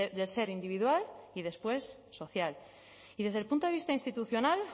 de ser individual y después social y desde el punto de vista institucional